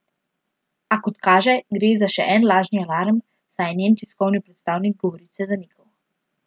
A, kot kaže, gre za še en lažni alarm, saj je njen tiskovni predstavnik govorice zanikal.